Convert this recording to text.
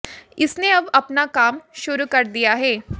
इसने अब अपना काम शुरू कर दिया है